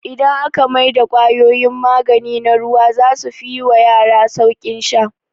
Idan aka mai da kwayoyin magani na ruwa zasu fi yi wa yara sauƙin sha